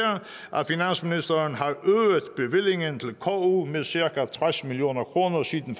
at finansministeren har øget bevillingen til ku med cirka tres million kroner siden